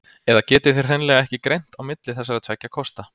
Eða getið þið hreinlega ekki greint á milli þessara tveggja kosta?